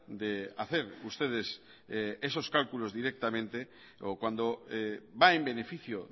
de hacer ustedes esos cálculos directamente o cuando va en beneficio